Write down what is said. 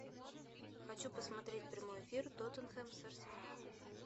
хочу посмотреть прямой эфир тоттенхэм с арсеналом